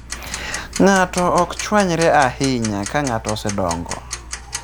Ng'ato ok chwanyre ahinya ka ng'ato osedongo.